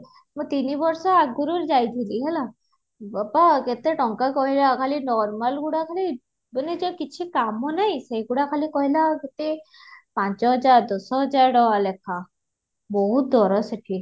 ତିନି ବର୍ଷ ଆଗରୁ ଯାଇଥିଲି ହେଲା ବାବା କେତେ ଟଙ୍କା କହିଲା ଖାଲି normal ଗୁଡା ଖାଲି ମାନେ ଯୋଉ କିଛି କାମ ନାହି ସେ ଗୁଡାକ ଖାଲି କହିଲା କେତେ ପାଞ୍ଚ ହଜାର ଦସ ହଜାର ଟଙ୍କା ଲେଖା ବହୁତ ଦର ସେଠି